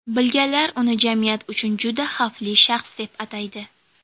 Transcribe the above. Bilganlar uni jamiyat uchun juda xavfli shaxs, deb ataydi.